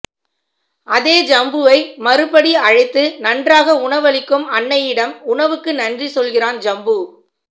அதே ஜம்புவை மறுபடி அழைத்து நன்றாக உணவளிக்கும் அன்னையிடம் உணவுக்கு நன்றி சொல்கிறான் ஜம்பு